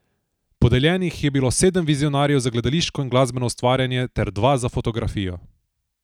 Podeljenih je bilo sedem Vizionarjev za gledališko in glasbeno ustvarjanje ter dva za fotografijo.